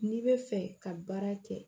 N'i bɛ fɛ ka baara kɛ